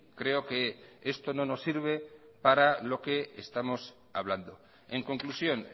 creo que esto no nos sirve para lo que estamos hablando en conclusión